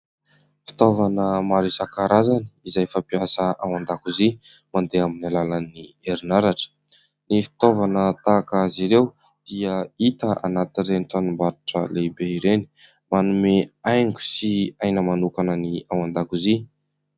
Fitaovana maro isankarazany izay fampiasa ao andakozia madeha amin'ny alalan'ny herinaratra. Ny fitaovana tahak'ireo dia hita any amin'ireny tranom-barotra lehibe irenymanome hanigo sy aina manokana ny ao andakozia.